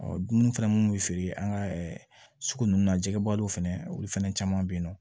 dumuni fɛnɛ minnu bɛ feere an ka sugu ninnu na jɛgɛbaliw fana olu fɛnɛ caman bɛ ye nɔ